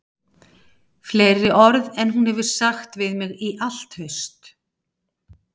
Fleiri orð en hún hefur sagt við mig í allt haust